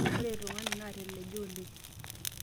ore ilo tung'ani naateleja oleng'